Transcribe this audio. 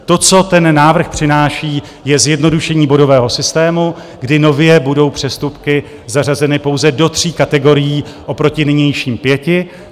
To, co ten návrh přináší, je zjednodušení bodového systému, kdy nově budou přestupky zařazeny pouze do tří kategorií oproti nynějším pěti.